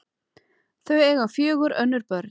Þau eiga fjögur önnur börn.